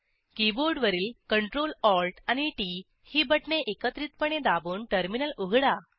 कीबोर्डवरील CtrlAlt आणि T T ही बटणे एकत्रिपणे दाबून टर्मिनल उघडा